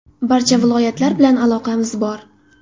Barcha viloyatlar bilan aloqamiz bor.